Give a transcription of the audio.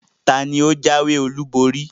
Taàní ó jáwé olú borí?